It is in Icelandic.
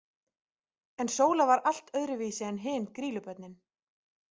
En Sóla var allt öðru vísi en hin Grýlubörnin.